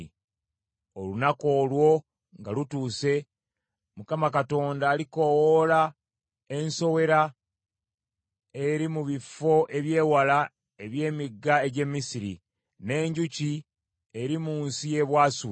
Olunaku olwo nga lutuuse, Mukama Katonda alikoowoola ensowera eri mu bifo eby’ewala eby’emigga egy’e Misiri, n’enjuki eri mu nsi y’e Bwasuli.